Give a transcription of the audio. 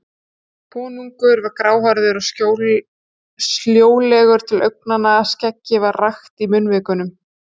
Konungur var gráhærður og sljólegur til augnanna, skeggið var rakt í munnvikunum.